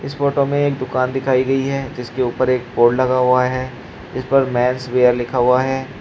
इस फोटो में एक दुकान दिखाई गई है जिसके ऊपर एक बोर्ड लगा हुआ है जिस पर मैंस वेयर लिखा हुआ है।